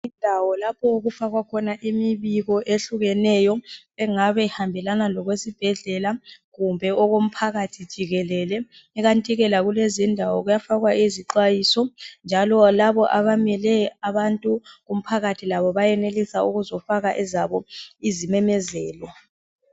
Indawo lapho okufakwa khona imibiko ehlukeneyo engabe ihambelana lokwesibhedlela kumbe okomphakathi jikelele. Ikantike lakulez' indawo kuyafakwa izixwayiso, njalo labo abamele abantu kumphakathi labo bayenelus' ukuzofaka ezabo izimemezelo.